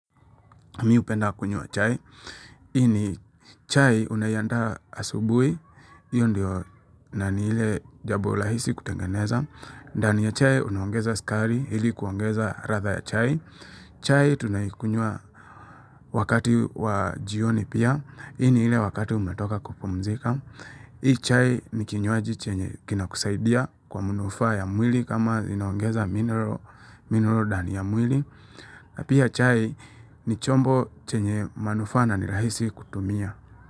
Mimi hupenda kunywa chai, hii ni chai unaindaa asubuhi, iyo ndio naniile jambo rahisi kutengeneza, ndani ya chai unaongeza sukari, ili kuongeza ladha ya chai, chai tunaikunywa wakati wa jioni pia, hii ni ile wakati umetoka kupumzika, hii chai nikinywaji chenye kinakusaidia kwa manufaa ya mwili kama inaongeza mineral ndani ya mwili. Na pia chai ni chombo chenye manufaa na ni rahisi kutumia.